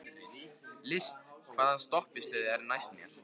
List, hvaða stoppistöð er næst mér?